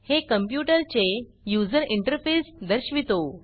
हे कंप्यूटर चे user interface दर्शवितो